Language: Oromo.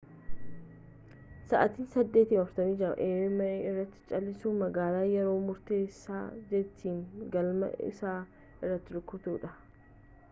sa'aatii 8:46 a.m. irratti cal'isuun magaalaa yeroo murteessaa jeetiin galma isaa itti rukuteedha